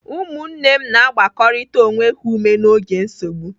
Ụmụnne na-agbakọrịta onwe ha ume n'oge nsogbu.